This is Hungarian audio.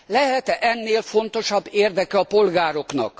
Lehet e ennél fontosabb érdeke a polgároknak?